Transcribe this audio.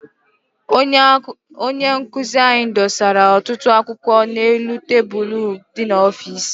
Onye nkụzi anyị dosara ọtụtụ akwụkwọ n'elu tebulu dị n'ọfịịsi.